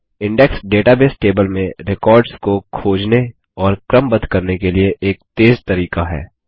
index database table में records को खोजने और क्रमबद्ध करने के लिए एक तेज़ तरीका है